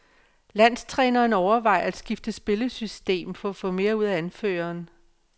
Landstræneren overvejer at skifte spillesystem for at få mere ud af anføreren.